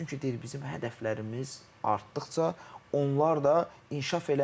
Çünki deyir bizim hədəflərimiz artdıqca onlar da inkişaf eləmir.